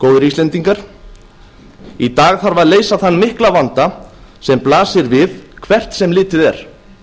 góðir íslendingar í dag þarf að leysa þann mikla vanda sem blasir við hvert sem litið er